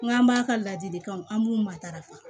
N k'an b'a ka ladilikanw an b'u matarafa